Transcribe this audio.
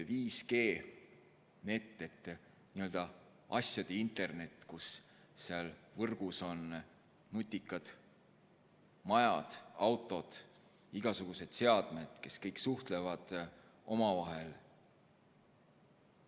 5G nett, n-ö asjade internet, kus võrgus on nutikad majad, autod, igasugused seadmed, kes kõik suhtlevad omavahel.